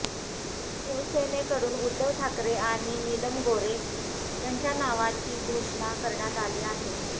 शिवसेनेकडून उद्धव ठाकरे आणि नीलम गोऱ्हे यांच्या नावाची घोषणा करण्यात आली आहे